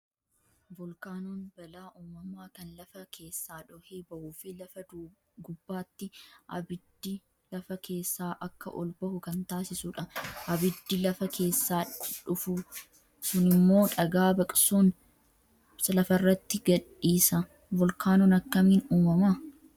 Volkaanoon balaa uumamaa kan lafa keessaa dhohee bahuu fi lafa gubbaatti abiddi lafa keessaa akka ol bahu kan taasisudha. Abiddi lafa keessaa dhufu sunimmoo dhagaa baqsuun lafarratti gadhiisa. Volkaanoon akkamiin uumama?